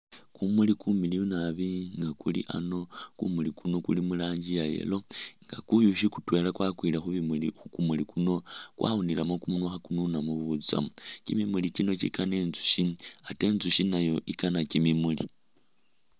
Kumuli kumiliyu naabi nga kuli aano, kumuli kuno kuli mu rangi ya yellow nga kuyushi kutwela kwakwile khu bimuli khu kumuli kuno kwawunilemo kumunwa kha kununamo butsamu. Kimimuli kino kikana intsushi ate intsushi nayo ikana kimimuli.